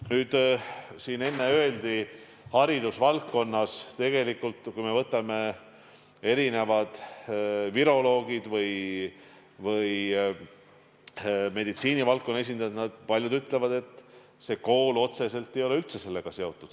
Nüüd, siin enne öeldi haridusvaldkonna kohta, siis kui me võtame viroloogide või meditsiinivaldkonna esindajate arvamused, siis paljud ütlevad, et kool otseselt ei ole üldse sellega seotud.